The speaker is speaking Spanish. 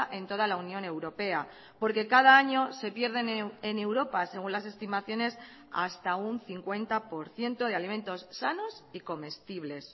en toda la unión europea porque cada año se pierden en europa según las estimaciones hasta un cincuenta por ciento de alimentos sanos y comestibles